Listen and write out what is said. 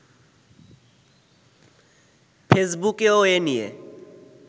ফেসবুকেও এ নিয়ে